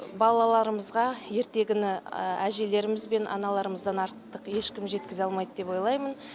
балаларымызға ертегіні әжелеріміз бен аналарымыздан артық ешкім жеткізе алмайды деп ойлаймын